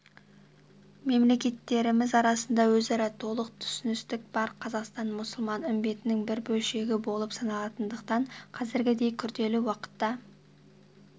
мемлекеттеріміз арасында өзара толық түсіністік бар қазақстан мұсылман үмбетінің бір бөлшегі болып саналатындықтан қазіргідей күрделі уақытта